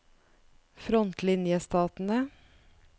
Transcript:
frontlinjestatene